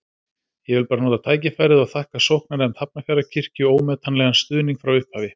Ég vil nota tækifærið og þakka sóknarnefnd Hafnarfjarðarkirkju ómetanlegan stuðning frá upphafi.